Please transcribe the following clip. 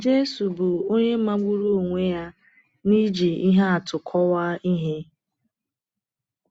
Jésù bụ onye magburu onwe ya n’iji ihe atụ kọwaa ihe.